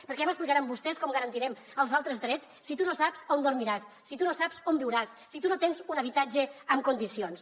perquè ja m’explicaran vostès com garantirem els altres drets si tu no saps on dormiràs si tu no saps on viuràs si tu no tens un habitatge en condicions